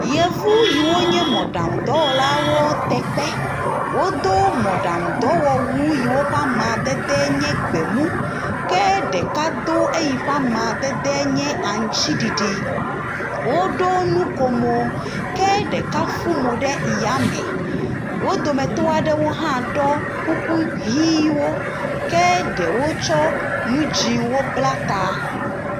Yevu yiwo nye mɔɖaŋudɔlawo te kpe. Wodo mɔɖaŋudɔwɔwuwo yiwo ƒe amadede nye gbemu. Ke ɖeka do eyi ƒe amadede nye aŋutsiɖiɖi. Woɖo nu ko mo. Ke ɖeka fu mo ɖe ya me. Wo dometɔ aɖewo hã ɖɔ kuku ʋiwo ke ɖewo tsɔ nu dzɛ̃wo bla ta.